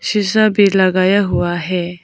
शीशा भी लगाया हुआ है।